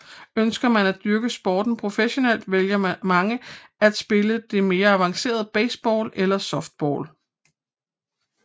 Ønsker man at dyrke sporten professionelt vælger mange at spille det mere avancerede baseball eller softball